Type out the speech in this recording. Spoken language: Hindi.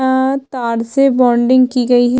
अ तार से बॉन्डिंग की गई हैं।